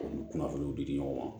U ni kunnafoniw di di ɲɔgɔn ma